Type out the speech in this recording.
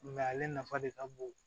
ale nafa de ka bon